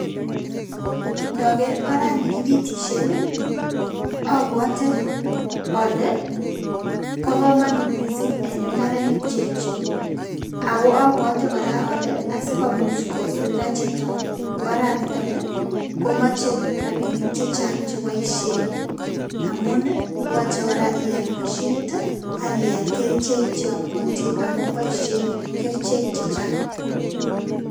Indoker orani kopitishen nii obwote ole bo komonut missing en imbarenik che yechen, ako obwote koraa ole asikomuch kosulta chito oraniton komoche rabishek chechang che boishen amun nii yoche koraa ial moshinit tii ak ial koraa kerichek cheyomotin amun boishen kerichek che chang.